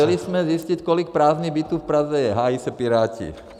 Chtěli jsme zjistit, kolik prázdných bytů v Praze je, hájí se Piráti.